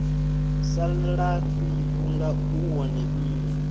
salafhi vhunga u wone mme